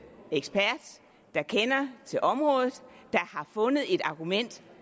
ekspert der kender til området der har fundet et argument